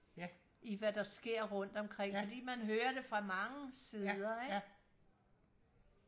i hvad der sker rundt omkring fordi man hører det fra mange sider ikke